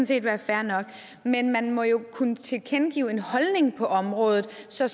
set være fair nok men man må jo kunne tilkendegive en holdning til området så